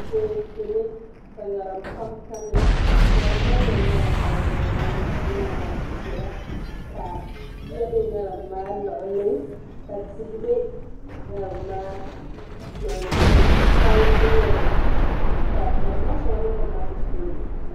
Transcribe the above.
Teeku ni ka ŋarim pam tamya ŋarim maa nyɛla ŋarim balibu balibu ŋarim ʒiɛ ni ŋarim piɛla ka yiya bɛ ŋarim maa luɣuli ka tihi bɛ ŋarim maa luɣuli tihi pam n ku nyɛli ka ŋarim maa shɛŋa bɛ kom maa sunsuuni